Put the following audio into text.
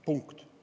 Punkt.